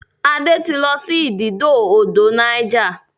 Ade tí lọ ididò odò Niger.